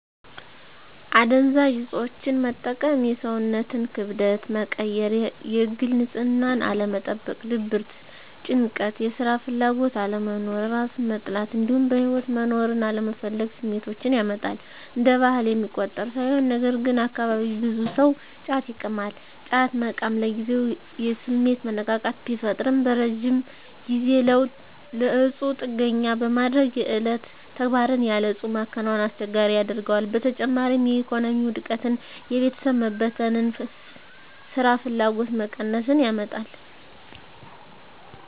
አደንዛዥ እፆችን መጠቀም የሰውነትን ክብደት መቀየር፣ የግል ንፅህናን አለመጠበቅ፣ ድብርት፣ ጭንቀት፣ የስራ ፍላጎት አለመኖር፣ እራስን መጥላት እንዲሁም በህይወት መኖርን አለመፈለግ ስሜቶችን ያመጣል። እንደ ባህል የሚቆጠር ሳይሆን ነገርግን አካባቢየ ብዙ ሰው ጫት ይቅማል። ጫት መቃም ለጊዜው የስሜት መነቃቃት ቢፈጥርም በረጅም ጊዜ ለእፁ ጥገኛ በማድረግ የዕለት ተግባርን ያለ እፁ መከወንን አስቸጋሪ ያደርገዋል። በተጨማሪም የኢኮኖሚ ውድቀትን፣ የቤተሰብ መበተን፣ ስራፍላጎት መቀነስን ያመጣል።